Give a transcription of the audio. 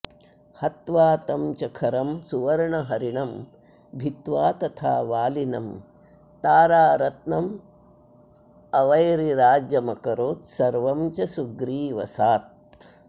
हत्वा तं च खरं सुवर्णहरिणं भित्वा तथा वालिनं तारारत्न मवैरिराज्यमकरोत्सर्वं च सुग्रीवसात्